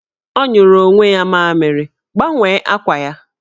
Ọ nyụrụ onwe ya mamịrị, gbanwee akwa ya!